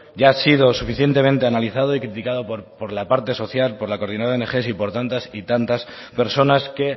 ya ha sido suficientemente analizado y criticado por la parte social por la coordinadora de ong y por tantas y tantas personas que